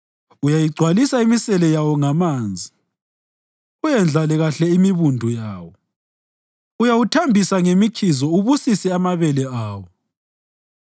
Uyayigcwalisa imisele yawo ngamanzi uyendlale kahle imibundu yawo; uyawuthambisa ngemikhizo ubusise amabele awo.